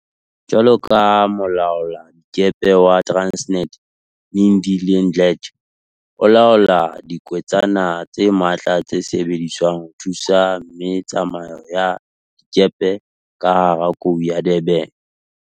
Jwalo ka molaoladikepe wa Transnet, Lindile Mdletshe, o laola diketswana tse matla tse sebediswang ho thusa me tsamao ya dikepe ka hara Kou ya Durban.